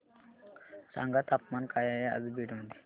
सांगा तापमान काय आहे आज बीड मध्ये